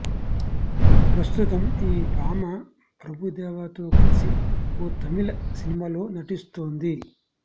ప్రస్తుతం ఈ భామ ప్రభుదేవాతో కలిసి ఓ తమిళ సినిమాలో నటిస్తోంది